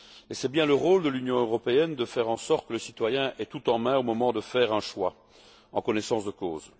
C'est bien le rôle de l'Union européenne de faire en sorte que le citoyen ait tout en main, au moment de faire un choix, pour se décider en connaissance de cause.